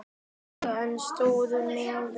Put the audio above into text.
En ég stóð mig vel.